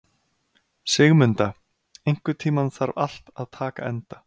Sigmunda, einhvern tímann þarf allt að taka enda.